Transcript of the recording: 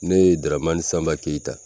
Ne ye Daramani Sanba Keyita